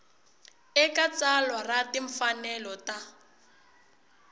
eka tsalwa ra timfanelo ta